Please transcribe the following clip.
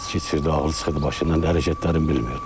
İçki içirdi, ağlı çıxırdı başından, hərəkətlərin bilmirdi.